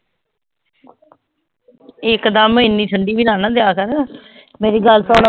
ਇੱਕ ਦਮ ਇੰਨੀ ਠੰਢੀ ਵੀ ਨਾ ਨਾ ਦਿਆ ਕਰ ਮੇਰੀ ਗੱਲ ਸੁਣ